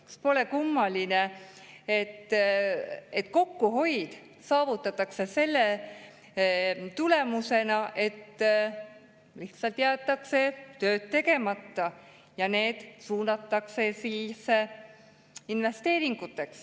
Kas pole kummaline, et kokkuhoid saavutatakse selle tulemusena, et lihtsalt jäetakse tööd tegemata ja raha suunatakse investeeringuteks?